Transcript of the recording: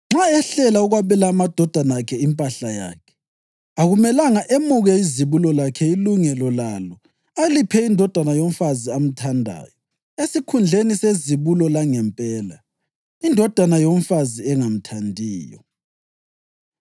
nxa ehlela ukwabela amadodana akhe impahla yakhe, akumelanga emuke izibulo lakhe ilungelo lalo aliphe indodana yomfazi amthandayo esikhundleni sezibulo langempela, indodana yomfazi engamthandiyo.